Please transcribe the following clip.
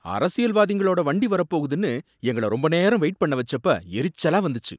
அரசியல்வாதிங்களோட வண்டி வரப்போகுதுனு எங்கள ரொம்ப நேரம் வெயிட் பண்ண வச்சப்ப எரிச்சலா வந்துச்சு.